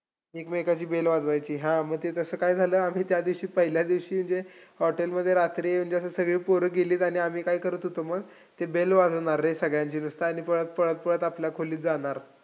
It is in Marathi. एकमेकांची bell वाजवायची, हां मग ते तसं काय झालं, आम्ही त्या दिवशी पहिल्या दिवशी hotel मध्ये रात्री म्हणजे असं सगळी पोरं गेलीत, आणि आम्ही काय करत होतो, मग ते bell वाजवणार रे सगळ्यांची. आणि पळत पळत पळत आपल्या खोलीत जाणार.